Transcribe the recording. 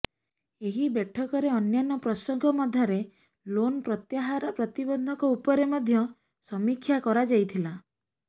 ଏହି ବୈଠକରେ ଅନ୍ୟାନ୍ୟ ପ୍ରସଙ୍ଗ ମଧ୍ୟରେ ଲୋନ୍ ପ୍ରତ୍ୟାହାର ପ୍ରତିବନ୍ଧକ ଉପରେ ମଧ୍ୟ ସମୀକ୍ଷା କରାଯାଇଥିଲା